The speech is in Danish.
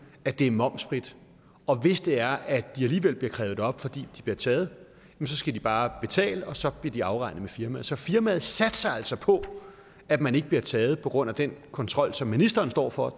at det er momsfrit og hvis det er at de alligevel bliver krævet op fordi de bliver taget så skal de bare betale og så bliver det afregnet med firmaet så firmaet satser altså på at man ikke bliver taget på grund af at den kontrol som ministeren står for